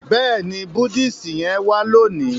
béèni Buddhist yén wa loni.